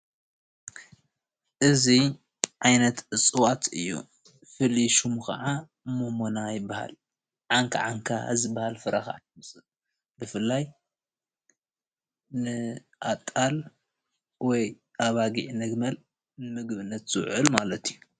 እዙይ ዓይነት እፅዋት እዩ። ፍሉይ ስሙ ኸዓ ሞሞና ይበሃል። ዓንካዓንካ ዝበሃል ፍረ ካዓ ኣለዎ ።ብፍላይ ከዓ ንኣጣል ፣ ን ኣጊዕ፣ ንጊመል ንምግብነት ዝውዕል ማለት እዩ።